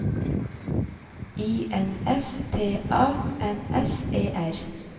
I N S T A N S E R